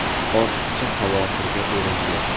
Ortiqcha xavotirga o‘rin yo‘q.